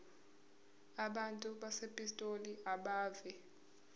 abantu basepitoli abeve